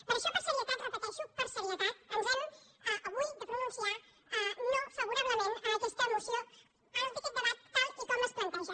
per això per serietat ho repeteixo per serietat ens hem avui de pronunciar no favorablement a aquesta moció a aquest debat tal com es planteja